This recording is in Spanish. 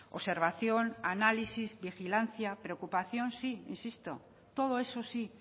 observación análisis vigilancia preocupación sí insisto todo eso sí